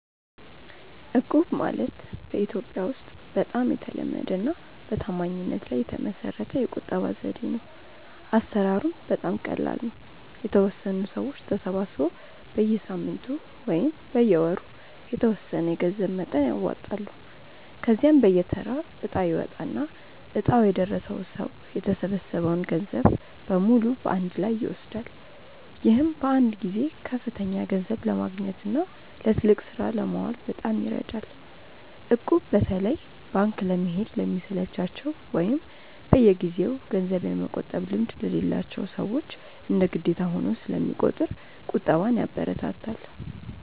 እቁብ ማለት በኢትዮጵያ ውስጥ በጣም የተለመደና በታማኝነት ላይ የተመሰረተ የቁጠባ ዘዴ ነው። አሰራሩም በጣም ቀላል ነው፤ የተወሰኑ ሰዎች ተሰባስበው በየሳምንቱ ወይም በየወሩ የተወሰነ የገንዘብ መጠን ያዋጣሉ። ከዚያም በየተራ እጣ ይወጣና እጣው የደረሰው ሰው የተሰበሰበውን ገንዘብ በሙሉ በአንድ ላይ ይወስዳል። ይህም በአንድ ጊዜ ከፍተኛ ገንዘብ ለማግኘትና ለትልቅ ስራ ለማዋል በጣም ይረዳል። እቁብ በተለይ ባንክ ለመሄድ ለሚሰለቻቸው ወይም በየጊዜው ገንዘብ የመቆጠብ ልምድ ለሌላቸው ሰዎች እንደ ግዴታ ሆኖ ስለሚቆጥር ቁጠባን ያበረታታል።